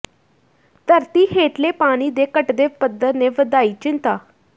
ਧਰਤੀ ਹੇਠਲੇ ਪਾਣੀ ਦੇ ਘੱਟਦੇ ਪੱਧਰ ਨੇ ਵਧਾਈ ਚਿੰਤਾ